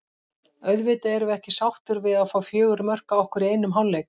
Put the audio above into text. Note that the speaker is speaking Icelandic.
Auðvitað erum við ekki sáttir við að fá fjögur mörk á okkur í einum hálfleik.